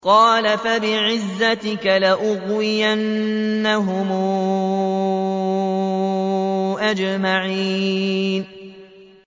قَالَ فَبِعِزَّتِكَ لَأُغْوِيَنَّهُمْ أَجْمَعِينَ